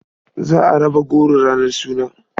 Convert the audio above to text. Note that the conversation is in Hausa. Za a raba goro ranar suna.